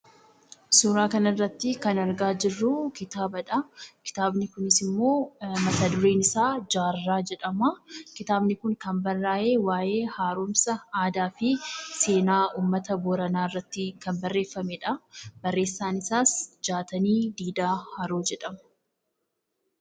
Suuraan kana irratti kan argaa jirru kitaabadha. Kitaabni kunis immoo mata-dureen isaa "Jaarraa" jedhama. Kitaabni kun kan barraa'e waa'ee haaromsa aadaa fi seenaa uummata Booranaa irratti kan barreeffameedha. Barreessaan isaas Jaatanii Didhaa Haroo jedhama.